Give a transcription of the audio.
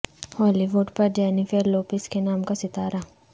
ہالی وڈ پر Jennifer Lopez کے نام کا ستارہ